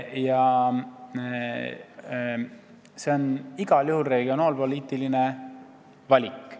Igal juhul on see aga regionaalpoliitiline otsus.